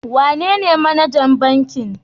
Wanene manajan bankin?